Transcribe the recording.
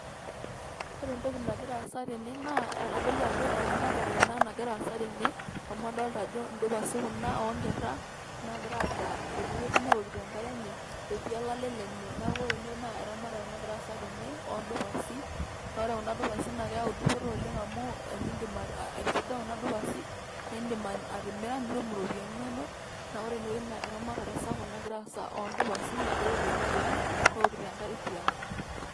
Ore entoki nagira aasa tene naa keitodolu ajo eramatare ena nagiraa aasa tene amu adolita ajo indupasi kuna oonkera naa kegira aadaa tenewueji neeokito enkare enye etii olale lenye neeku ore ene naa eramatare nagiraa aasa tene oodupasi naa ore kuna dupasi naa keyau dupoto oleng amu ore tenindiim aiduga kuna dupasi naae indim atimira nitum iropiyiani inonok naa ore inewueji naa eramatare sapuk nagiraa aasa oo ndupasi naagirIai aitoti tiang newokito enkare tiang